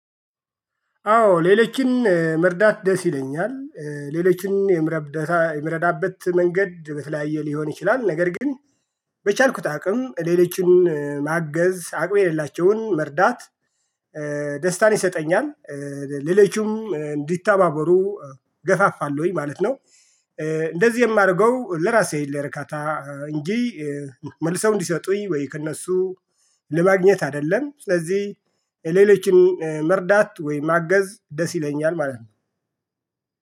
አዎ ሌሎችን መርዳት ደስ ይለኛል። ሌሎችን የምረዳበት መንገድ በተለያየ ሊሆን ይችላል ነገር ግን በቻልኩት አቅም ሌሎችን ማገዝ አቅም የሌላቸውን መርዳት። ደስታን ይሰጠኛል። ሌላችሁም እንዲታባበሩ ገፋፋለሁኝ ማለት ነው። እንደዚህ የማደርገው ለራሴ ለእርካታ እንጂ መልሰው እንዲሰጡኝ ወይ ከእነሱ ለማግኘት አይደለም። ስለዚህ የሌሎችን መርዳት ወይ ማገዝ ደስ ይለኛል ማለት ነው